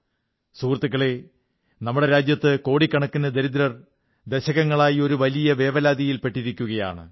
സഹൃത്തുക്കളേ നമ്മുടെ രാജ്യത്ത് കോടിക്കണക്കിന് ദരിദ്രർ ദശകങ്ങളായി ഒരു വലിയ വേവലാതിയിൽ പെട്ടിരിക്കയാണ്